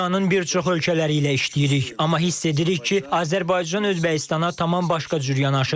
Biz dünyanın bir çox ölkələri ilə işləyirik, amma hiss edirik ki, Azərbaycan Özbəkistana tamam başqa cür yanaşır.